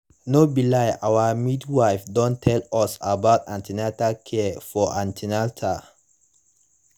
no be lie our midwife don tell us about an ten atal care for an ten atal